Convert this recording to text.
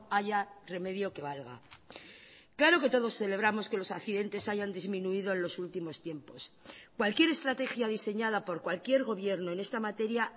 haya remedio que valga claro que todos celebramos que los accidentes hayan disminuido en los últimos tiempos cualquier estrategia diseñada por cualquier gobierno en esta materia